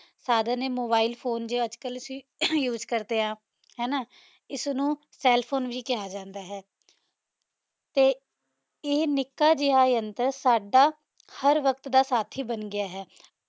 ਸਾਧਨ ਆਯ mobile phone ਜੋ ਆਜ ਕਲ use ਕਰਦੇ ਆਂ ਹੈ ਨਾ ਇਸਨੁ cell phone ਵੀ ਕਹਯ ਜਾਂਦਾ ਹੈ ਤੇ ਇਹ ਨਿਕ ਜੇਯ ਯੰਤਰ ਸਾਡਾ ਹਰ ਵਾਕ਼ਾਤ ਦਾ ਸਾਥੀ ਬਣ ਗਯਾ ਹੈ